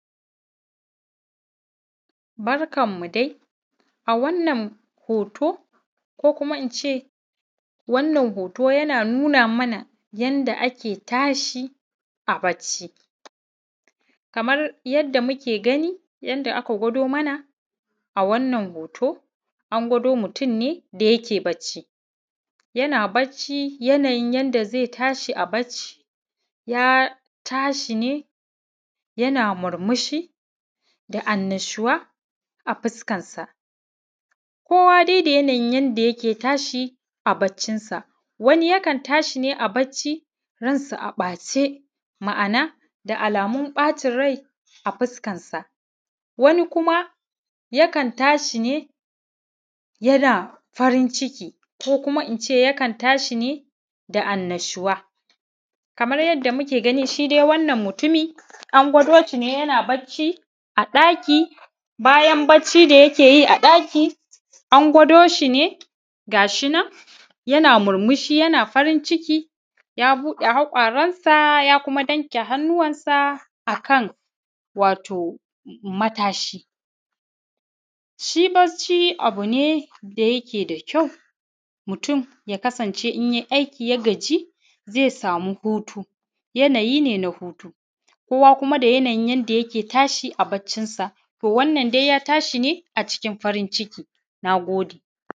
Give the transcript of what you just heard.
Barkanmu dai a wannan hoto ko kuma in ce wannan hoto yana nuna mana yadda ake tashi a bacci. Kamar yadda muke gani yadda aka gwado mana. Wannan hoto a gwado mutum ne da yake bacci yana bacci yanayin yadda zai tashi a bacci ya tashi ne yana murmushi da annashuwa a fuskarsa. Kowa da yanayin yadda yake tashi a baccinsa wani yakan tashi ne a bacci ransa a ɓace. Ma'ana da alamun ɓacin rai a fuskarsa. Wani kuma yakan tashi ne yana farin ciki ko in ce yakan tashi ne da annashuwa. Kamar yadda muke gani shi dai wannan mutumin an gwado shi ne yana bacci a ɗaki bayan bacci da yake yi a ɗaki an gwado shi ne ga shi na yana murmushi da haƙaransa ya kuma danƙe hannuwansa a kan wato matashi. Shi bacci abu ne da yake da ƙyau mutum ya kasance in yai aiki ya gajiya sama hutu, yanayi ne na huta kowa kuma da yanayi yadda yake tashi a baccinsa wannan dai ya tashi ne a cikin farin ciki